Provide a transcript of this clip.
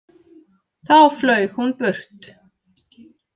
Þá flaug hún burt.